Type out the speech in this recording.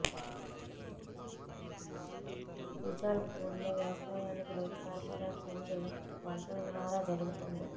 తుజాల్పూర్లో వ్యవసాయానికి నీటి సరఫరా కింది వనరుల ద్వారా జరుగుతోంది